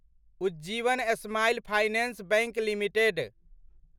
Ujjivan smile finance bank limited